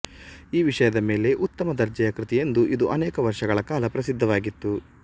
ಈ ವಿಷಯದ ಮೇಲೆ ಉತ್ತಮ ದರ್ಜೆಯ ಕೃತಿಯೆಂದು ಇದು ಅನೇಕ ವರ್ಷಗಳ ಕಾಲ ಪ್ರಸಿದ್ಧವಾಗಿತ್ತು